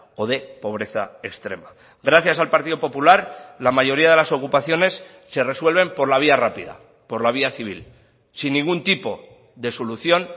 o de pobreza extrema gracias al partido popular la mayoría de las ocupaciones se resuelven por la vía rápida por la vía civil sin ningún tipo de solución